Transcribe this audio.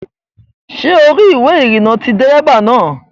Ṣé o rí ìwé ìrìnnà ti dérébà náà?